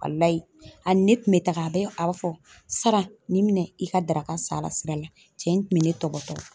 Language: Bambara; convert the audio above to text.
Walahi a ni ne tun bɛ taga a bɛ a fɔ Saran ni minɛ i ka daraka san a la sira la, cɛ in tun bɛ ne tɔpɔtɔ